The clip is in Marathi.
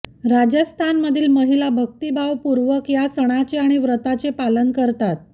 राजस्थानमधील महिला भक्तीभावपूर्वक या सणाचे आणि व्रताचे पालन करतात